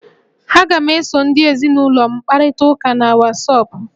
Aga m eso ezinụlọ m kparịta ụka na wọsọpụ